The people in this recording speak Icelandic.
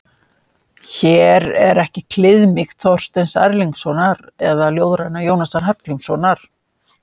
Hér er ekki kliðmýkt Þorsteins Erlingssonar eða ljóðræna Jónasar Hallgrímssonar.